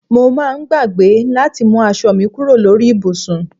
Mo máa ń gbàgbé láti mú aṣọ mi kúrò lórí ibùsùn